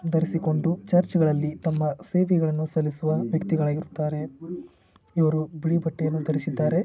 ಧರಿಸಿಕೊಂಡು ಚರ್ಚ್ಗಳಲ್ಲಿ ತಮ್ಮ ಸೇವೆಗಳನ್ನು ಸಲ್ಲಿಸುವ ವ್ಯಕ್ತಿಗಳಾಗಿರುತ್ತಾರೆ. ಇವರು ಬಿಳಿ ಬಟ್ಟೆಯನ್ನು ಧರಿಸಿದ್ದಾರೆ.